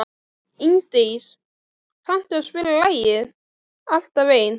Ingdís, kanntu að spila lagið „Alltaf einn“?